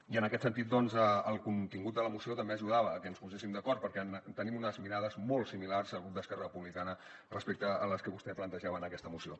i en aquest sentit el contingut de la moció també ajudava a que ens poséssim d’acord perquè tenim unes mirades molt similars el grup d’esquerra republicana respecte a les que vostè plantejava en aquesta moció